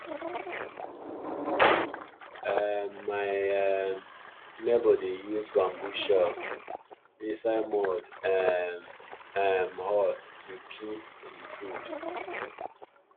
um my um neighbour dey use bamboo shelf inside mud um um hut to keep him food